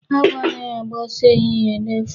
Awọ anaghị agba ọsọ ehihie n'efu.